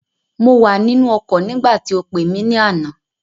Mo wà nínú ọkọ̀ nígbàtí o pé mi ní àná